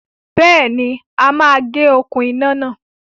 Béèni, a máa gé okún iná náà